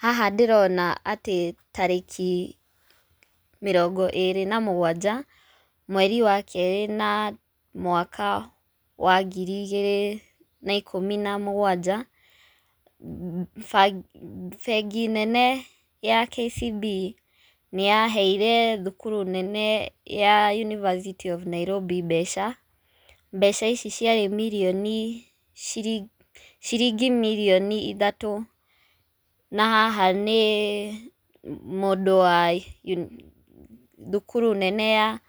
Haha ndĩrona atĩ tarĩkĩ mĩrongo ĩrĩ na mũgwanja, mweri wa kerĩ na mwaka wa ngiri igĩrĩ na ikũmi na mũgwanja, ba bengi nene ya KCB nĩyaheire thukuru nene ya University of Nairobi mbeca, mbeca ici ciarĩ mirioni shili shilingi mirioni ithatũ. Na haha nĩ mũndũ wa uni thukuru nene ya